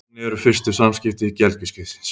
Þannig eru fyrstu samskipti gelgjuskeiðsins.